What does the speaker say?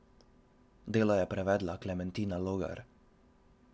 Delo je prevedla Klementina Logar.